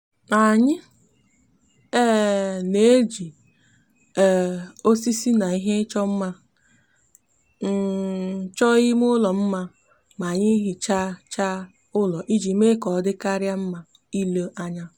anyi um n'eji um osisi na ihe icho nma um choo ime ulo nma ma anyi hichacha ulo iji me ka odikaria nma ile anya